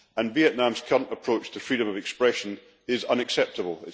Vietnam's current approach to freedom of expression is unacceptable